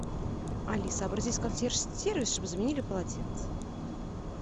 алиса обратись в консьерж сервис чтобы заменили полотенце